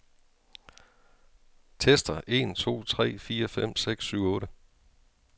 Tester en to tre fire fem seks syv otte.